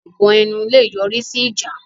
Ẹ̀gàn ẹnu lè yọ̀rí sí ìjà